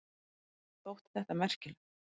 Þótti þetta merkilegt.